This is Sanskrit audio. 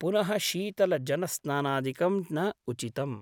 पुनः शीतल जनस्नानादिकं न उचितम् ।